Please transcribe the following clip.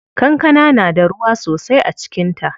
Kankana na da ruwa sosai a cikin ta.